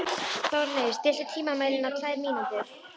Þórleif, stilltu tímamælinn á tvær mínútur.